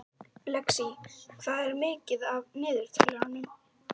Lexí, hvað er mikið eftir af niðurteljaranum?